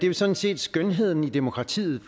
jo sådan set skønheden i demokratiet